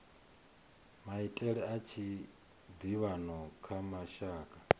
maitele a tshiḓivhano kha mashaka